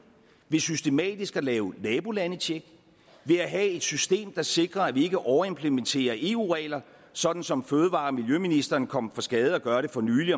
ved systematisk at lave nabolandecheck ved at have et system der sikrer at vi ikke overimplementerer eu regler sådan som fødevareministeren kom for skade at gøre det fornylig